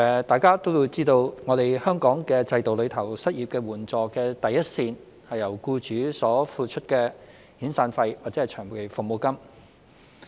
大家也知道在香港的制度中，失業援助的第一線是僱主所支付的遣散費或長期服務金。